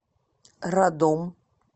радом